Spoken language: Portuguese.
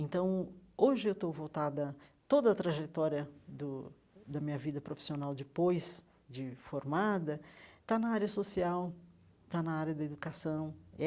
Então, hoje eu estou voltada... Toda a trajetória do da minha vida profissional depois de formada está na área social, está na área da educação.